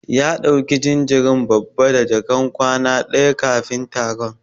Ya dauki jinjirin babba da jakan kwana daya kafin taron.